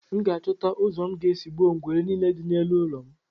M ga-achọta ụzọ m ga-esi gbuo ngwere niile dị n'elu ụlọ m